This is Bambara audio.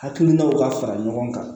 Hakilinaw ka fara ɲɔgɔn kan